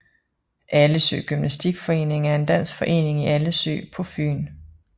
Allesø Gymnastik Forening er en dansk forening i Allesø på Fyn